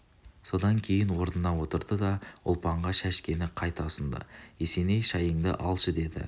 содан кейін орнына отырды да ұлпанға шәшкені қайта ұсынды есеней шайыңды алшы деді